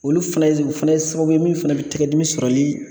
Olu fɛnɛ z fɛnɛ ye sababu ye min fɛnɛ be tɛgɛ dimi sɔrɔli